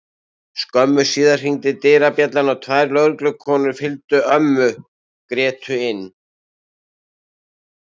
Skömmu síðar hringdi dyrabjallan og tvær lögreglukonur fylgdu ömmu Grétu inn.